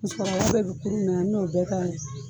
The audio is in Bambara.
Musokɔrɔba bɛ n'o bɛɛ k'a la